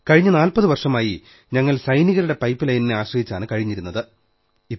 കഴിഞ്ഞ 40 വർഷമായി ഞങ്ങൾ സൈനികരുടെ പൈപ്പ് ലൈനിനെ ആശ്രയിച്ചാണു കഴിഞ്ഞിരുന്നത്